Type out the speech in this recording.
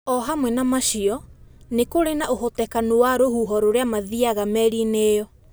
Ohamwe na macio nikuri na uhotekanu wa rũhũho uria mathiaga meriini iyo